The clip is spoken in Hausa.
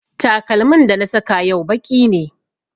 Takalmin da na saka yau baƙi ne